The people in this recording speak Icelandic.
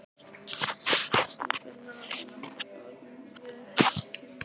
Hún finnur að hún er orðin vel heit í kinnum.